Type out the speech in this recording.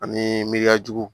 Ani miriyajugu